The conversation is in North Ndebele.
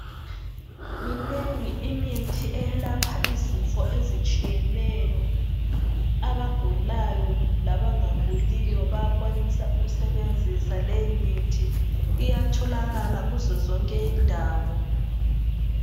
Minengi imithi eyelapha izifo ezitshiyeneyo. Abagulayo labangaguliyo bayakwanisa ukusebenzisa leyomithi, iyatholakala kuzo zonke indawo.